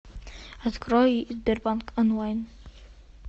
открой сбербанк онлайн